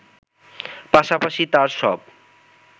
পাশাপাশি তার সব